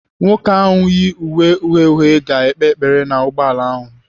Nwoke ahu yi uwe uhie uhie ga-ekpe ekpere n'ugboala ahụ.